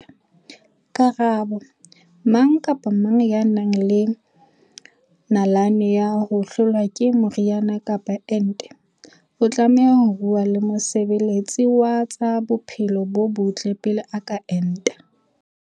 Karabo- Mang kapa mang ya nang le nalane ya ho hlolwa ke meriana kapa ente o tlameha ho bua le mosebe letsi wa tsa bophelo bo botle pele a ka enta.